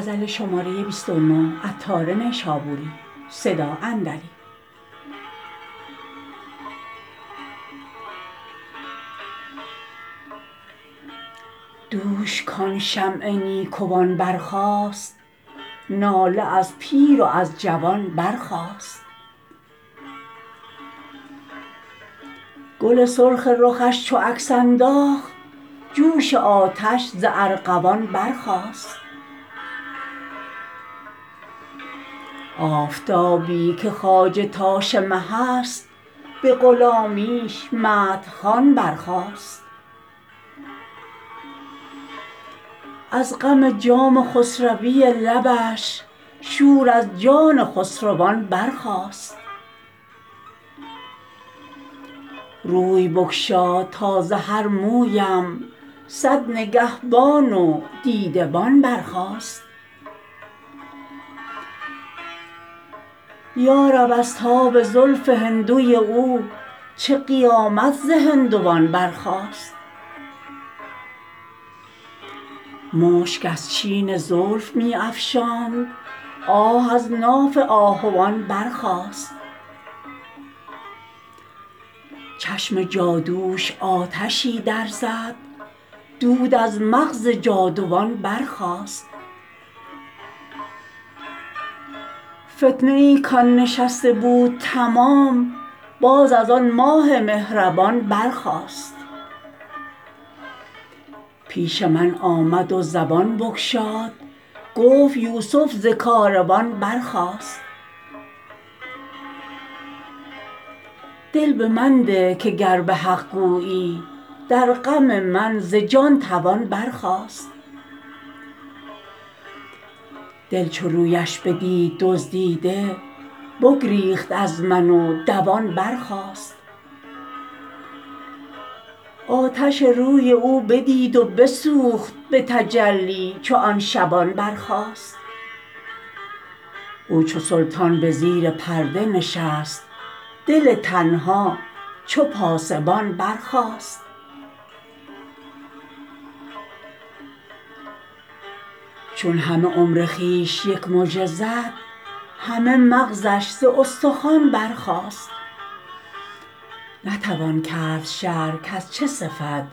دوش کان شمع نیکوان برخاست ناله از پیر و از جوان برخاست گل سرخ رخش چو عکس انداخت جوش آتش ز ارغوان برخاست آفتابی که خواجه تاش مه است به غلامیش مدح خوان برخاست از غم جام خسروی لبش شور از جان خسروان برخاست روی بگشاد تا ز هر مویم صد نگهبان و دیده بان برخاست یارب از تاب زلف هندوی او چه قیامت ز هندوان برخاست مشک از چین زلف می افشاند آه از ناف آهوان برخاست چشم جادوش آتشی در زد دود از مغز جادوان برخاست فتنه ای کان نشسته بود تمام باز از آن ماه مهربان برخاست پیش من آمد و زبان بگشاد گفت یوسف ز کاروان برخاست دل به من ده که گر به حق گویی در غم من ز جان توان برخاست دل چو رویش بدید دزدیده بگریخت از من و دوان برخاست آتش روی او بدید و بسوخت به تجلی چو آن شبان برخاست او چو سلطان به زیر پرده نشست دل تنها چو پاسبان برخاست چون همه عمر خویش یک مژه زد همه مغزش ز استخوان برخاست نتوان کرد شرح کز چه صفت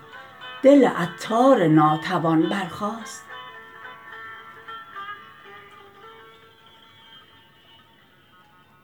دل عطار ناتوان برخاست